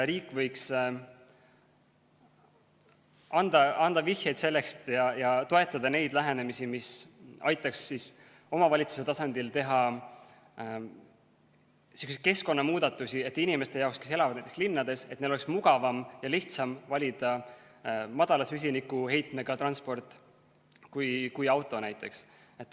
Riik võiks anda vihjeid sellest ja toetada neid lähenemisi, mis aitaks omavalitsuse tasandil teha selliseid keskkonnamuudatusi, et inimeste jaoks, kes elavad näiteks linnades, oleks mugavam ja lihtsam valida madala süsinikuheitmega transport kui näiteks auto.